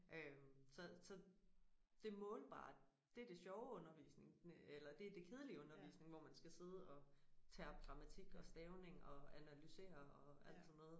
Øh så så det målbare det det sjove undervisning eller det det kedelige undervisning hvor man skal sidde og terpe grammatik og stavning og analysere og alt sådan noget